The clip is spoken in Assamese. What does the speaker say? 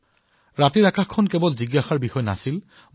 নিশা দেখিবলৈ পোৱা আকাশ কেৱল এক জিজ্ঞাসাৰ বিষয় বস্তুৱেই হৈ থকা নাছিল